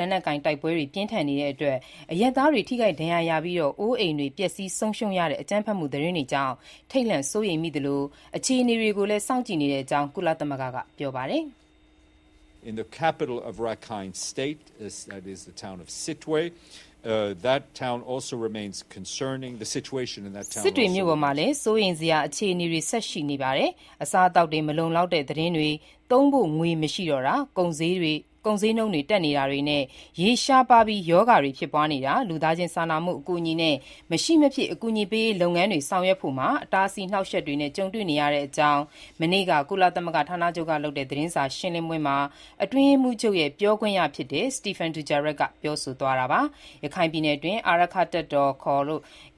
လက်နက်ကိုင် တိုက်ပွဲတွေ ပြင်းထန်နေချိန်အရပ်သားတွေ ထိခိုက်ဒဏ်ရာရပြီး အိုးအိမ်တွေ ပျက်ဆီးဆုံးရှုံးရတဲ့ အကြမ်းဖက်မှုသတင်းတွေနဲ့ ပတ်သက်လို့ ထိတ်လန့်စိုးရိမ်မိသလို အခြေအနေကို စောင့်ကြည့်နေတဲ့အကြောင်း ကုလသမဂ္ဂက ပြောဆိုပါတယ်။ "စစ်တွေမြို့ပေါ်မှာလည်း စိုးရိမ်စရာအခြေအနေ ဆက်ပြီး ရှိနေပါတယ်။ အစားအသောက်တွေ မလုံလောက်တဲ့ သတင်းတွေ၊ သုံးဖို့ ငွေ မရှိတော့တောတာ၊ ကုန်ဈေးတွေ တက်နေတာတွေနဲ့၊ ရေရှားပါးပြီး ရောဂါတွေ ဖြစ်ပွားနေတာ၊ ပြည်နယ်တဝန်း လူသားချင်းစာနာမှု အကူအညီနဲ့ မရှိမဖြစ် အကူအညီပေးရေးလုပ်ငန်းတွေ ဆောင်ရွက်ဖို့မှာ အဟန့်အတား အနှောက်အယှက်တွေ ကြုံနေရပါတယ်" လို့ မနေ့က ကုလသမဂ္ဂဌာနချုပ် သတင်းစာရှင်းလင်းပွဲမှာ အတွင်းရေးမှူးချုပ်ရဲ့ ပြောခွင့်ရ Stéphane Dujarric ပြောဆိုသွားတာပါ။ ရခိုင်ပြည်နယ်အတွင်း အာရက္ခတပ်တော် ခေါ်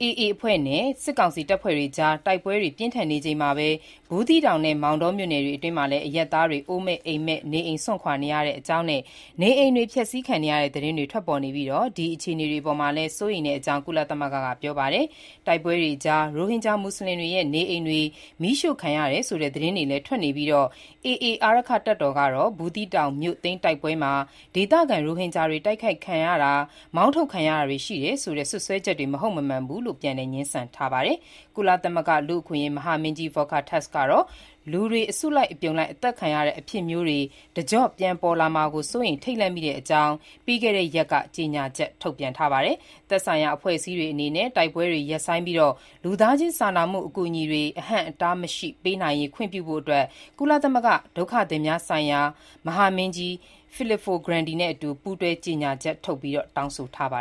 AA အဖွဲ့နဲ့ စစ်ကောင်စီတပ်တွေအကြား တိုက်ပွဲတွေ ပြင်းထန်နေချိန်မှာပဲ ဘူးသီးတောင်နဲ့ မောင်တော်မြို့နယ်တွေအတွင်း အရပ်သားတွေ အိုးမဲ့အိမ်မဲ့ နေအိမ်စွန့်ခွာနေတဲ့အကြောင်းနဲ့ နေအိမ်တွေ ဖျက်ဆီးခံရတဲ့ သတင်းတွေ ထွက်ပေါ်နေပြီး ဒီအခြေအနေတွေ အပေါ်မှာလည်း စိုးရိမ်တဲ့အကြောင်း ကုလသမဂ္ဂက ပြောဆိုပါတယ်။ တိုက်ပွဲတွေကြား ရိုဟင်ဂျာ မူဆလင်တွေရဲ့ နေအိမ်တွေ မီးရှို့ခံရတယ်ဆိုတဲ့ သတင်းတွေလည်း ထွက်နေပြီး AA အာရက္ခတပ်တော် ကတော့ ဘူးသီးတောင်မြို့သိမ်း တိုက်ပွဲမှာ ဒေသခံ ရိုဟင်ဂျာတွေ တိုက်ခိုက်ခံရတာ မောင်းထုတ်ခံရတာတွေ ရှိခဲ့တယ်ဆိုတဲ့ စွပ်စွဲချက်တွေ မဟုတ်မမှန်ဘူးလို့ ပြန်လည် ငြင်းဆန်ထားပါတယ်။ ကုလသမဂ္ဂလူ့အခွင့်အရေး မဟာမင်းကြီး Volker Türk ကတော့ လူတွေ အစုလိုက် အသတ်ခံရတဲ့ အဖြစ်မျိုးတွေ တကျော့ပြန် ပြန်ပေါ်လာမှာ စိုးရိမ် ထိတ်လန့်မိတဲ့အကြောင်း ပြီးခဲ့တဲ့ရက်က ကြေညာချက် ထုတ်ပြန်ပါတယ်။ သက်ဆိုင်ရာ အဖွဲ့အစည်းတွေအနေနဲ့ တိုက်ပွဲတွေ ရပ်ဆိုင်းပြီး လူသားချင်းစာနာမှု အကူအညီတွေ အဟန့်အတားမရှိ ပေးနိုင်ရေး ခွင့်ပြုဖို့ ဒုက္ခသည်များဆိုင်ရာ ကုလသမဂ္ဂ မဟာမင်းကြီး Filippo Grandi နဲ့အတူ ပူးတွဲ ကြေညာချက်ထုတ် တောင်းဆိုထားပါ